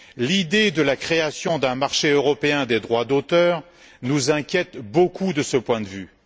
L'idée de la création d'un marché européen des droits d'auteur nous inquiète beaucoup de ce point de vue.